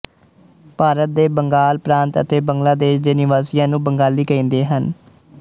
ਭਾਰਤ ਦੇ ਬੰਗਾਲ ਪ੍ਰਾਂਤ ਅਤੇ ਬੰਗਲਾ ਦੇਸ਼ ਦੇ ਨਿਵਾਸੀਆਂ ਨੂੰ ਬੰਗਾਲੀ ਕਹਿੰਦੇ ਹਨ